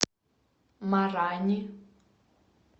марани